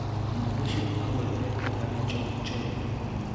Mũndũ ũcio aguetetwo taRi Jong Choi.